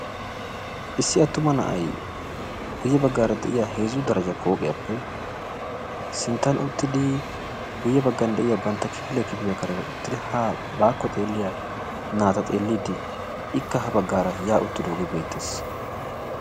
Issi attuma na'ay guye baggaara de'iya heezzu darajja pooqiyaappe sinttan uttidi guye baggan de'iya bantta kifiliya kifiliya kareeni uttidi haa baako xeelliya naata xeelliidi ikka ha baggara ya uttidooge beettees.